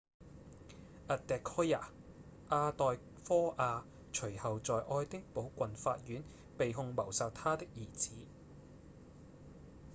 adekoya 阿代科亞隨後在愛丁堡郡法院被控謀殺她的兒子